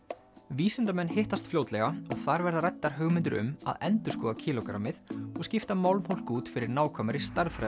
vísindamenn hittast fljótlega og þar verða ræddar hugmyndir um að endurskoða kílógrammið og skipta út fyrir nákvæmari